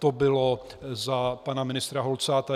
To bylo za pana ministra Holcáta.